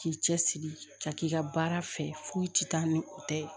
K'i cɛsiri ka k'i ka baara fɛ foyi tɛ taa ni o tɛ ye